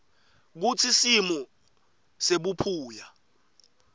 kutsi simo sebuphuya